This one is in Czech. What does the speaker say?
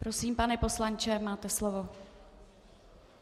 Prosím, pane poslanče, máte slovo.